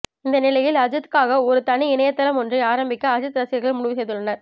இந்த நிலையில் அஜித்துக்காக ஒரு தனி இணையதளம் ஒன்றை ஆரம்பிக்க அஜித் ரசிகர்கள் முடிவு செய்துள்ளனர்